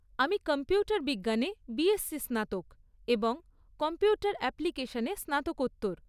আমি কম্পিউটার বিজ্ঞানে বিএসসি স্নাতক এবং কম্পিউটার অ্যাপ্লিকেশনে স্নাতকোত্তর।